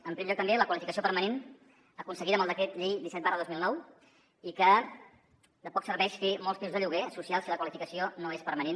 en primer lloc també la qualificació permanent aconseguida amb el decret llei disset dos mil dinou que de poc serveix fer molts pisos de lloguer social si la qualificació no és permanent